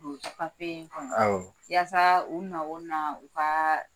papiye in kɔnɔ yasa u na o na u ka